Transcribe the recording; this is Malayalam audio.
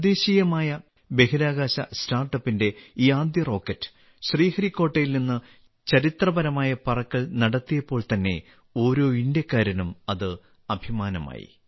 തദ്ദേശീയമായ ബഹിരാകാശ സ്റ്റാർട്ടപ്പിന്റെ ഈ ആദ്യ റോക്കറ്റ് ശ്രീഹരിക്കോട്ടയിൽ നിന്ന് ചരിത്രപരമായ പറക്കൽ നടത്തിയപ്പോൾ തന്നെ ഓരോ ഇന്ത്യക്കാരനും അത് അഭിമാനമായി